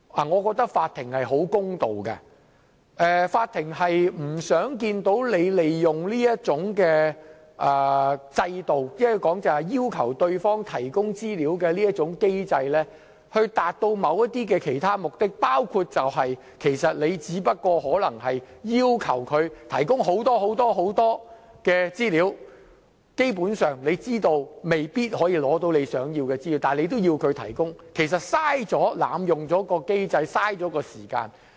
我認為法庭是十分公道的，法庭不想看見你利用制度，即要求對方提供資料的機制以達到某些其他目的，包括你其實只是要求別人提供很多、很多的資料，而基本上你知道未必可以取得你想得到的資料，但你仍要別人提供，這樣其實是在濫用機制，浪費時間。